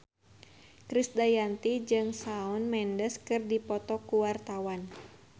Krisdayanti jeung Shawn Mendes keur dipoto ku wartawan